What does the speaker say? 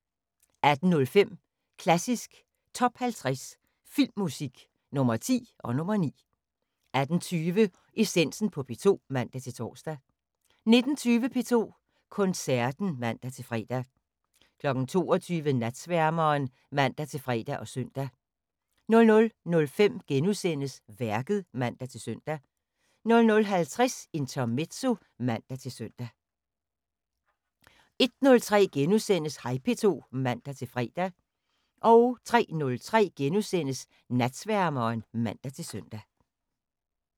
18:05: Klassisk Top 50 Filmmusik – Nr. 10 og nr. 9 18:20: Essensen på P2 (man-tor) 19:20: P2 Koncerten (man-fre) 22:00: Natsværmeren (man-fre og søn) 00:05: Værket *(man-søn) 00:50: Intermezzo (man-søn) 01:03: Hej P2 *(man-fre) 03:03: Natsværmeren *(man-søn)